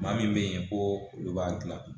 Maa min bɛ yen ko olu b'a dilan